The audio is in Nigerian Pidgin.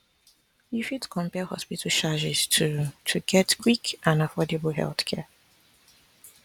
you fit compare hospital charges to to get quick and affordable healthcare